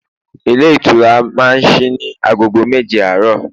ilé ìṣura ma sí ní agogo méje àárò